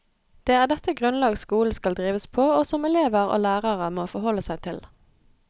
Det er dette grunnlag skolen skal drives på, og som elever og lærere må forholde seg til.